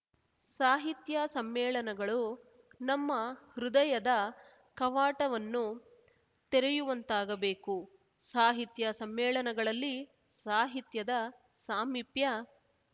ಸಾಹಿತ್ಯ ಸಮ್ಮೇಳನಗಳು ನಮ್ಮ ಹೃದಯದ ಕವಾಟವನ್ನು ತೆರೆಯುವಂತಾಗಬೇಕು ಸಾಹಿತ್ಯ ಸಮ್ಮೇಳನಗಳಲ್ಲಿ ಸಾಹಿತ್ಯದ ಸಾಮಿಪ್ಯ